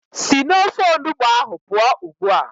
Sị n'ofe onugbu ahụ pụọ ugbu a!